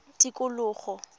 tikologo